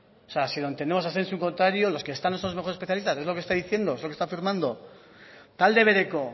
o sea si lo entendemos así es un contrario los que están esos mejores especialistas es lo que está diciendo es lo que está afirmando talde bereko